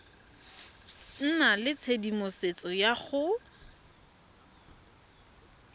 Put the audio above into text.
nna le tshedimosetso ya go